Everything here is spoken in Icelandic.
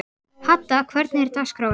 Hadda, hvernig er dagskráin?